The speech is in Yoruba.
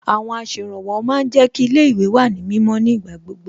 Àwọn aṣèrànwọ́ ma ń jẹ́ kí ilé ìwé wà ní mímọ́ ní ìgbà gbogbo